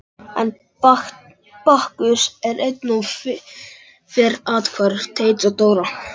Enn er Bakkus eins og fyrr athvarf Teits og Dóra.